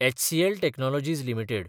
HCL technologies limited